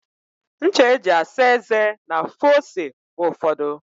Ncha e ji asa eze na-afụ ose mgbe ụfọdụ.